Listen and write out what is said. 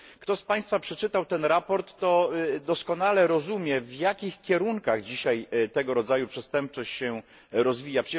Kto z Państwa przeczytał ten raport to doskonale rozumie, w jakich kierunkach dzisiaj tego rodzaju przestępczość się rozwija.